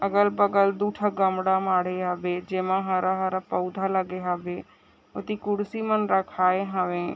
अगल बगल दू ठन गामड़ा माडे हावे जेमा हरा -हरा पउधा लागे हावे उत्ती कुर्सी मन रखाये हवे।